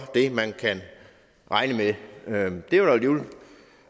det man kan regne med